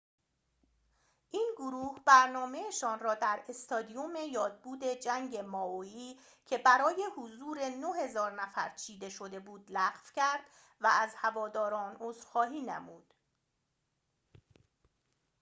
این گروه برنامه‌شان را در استادیوم یادبود جنگ مائوئی که برای حضور ۹,۰۰۰ نفر چیده شده بود لغو کرد و از هواداران عذرخواهی نمود